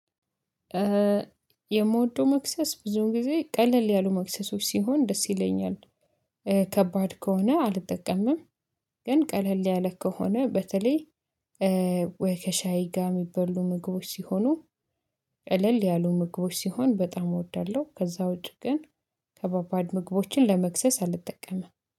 የምወደው መክሰስ ብዙውን ጊዜ ቀለል ያሉ መክሰሶች ሲሆን ደስ ይለኛል ከባድ ከሆነ አልጠቀምም። ግን ቀለል ያለ ከሆነ በተለይ ወይ ከሻይ ጋር የሚበሉ ምግቦች ሲሆኑ ቀለል ያሉ ምግቦች ሲሆን በጣም እወዳለሁ። ከዛ ውጪ ግን ከባባድ ምግቦችን ለመክሰስ አልጠቀምም